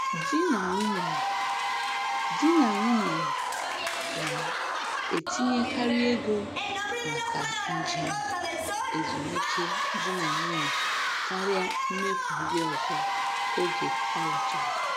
Di na nwunye Di na nwunye na-etinyekarị ego maka njem ezumike di na nwunye karịa mmefu ndị ọzọ oge alụchara.